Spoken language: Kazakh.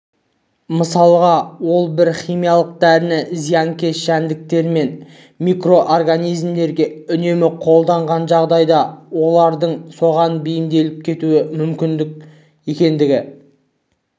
мысалға ол бір химиялық дәріні зиянкес жәндіктер мен микроорганизмдерге үнемі қолданған жағдайда олардың соған бейімделіп кетуі мүмкін екендігін